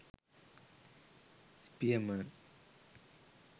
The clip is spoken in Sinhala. spierman